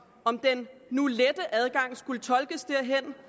om den nu lette adgang skulle tolkes derhen